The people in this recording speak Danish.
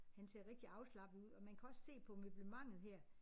Han ser rigtig afslappet ud og man kan også se på møblementet her